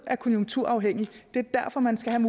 er konjunkturafhængigt og det er derfor man skal have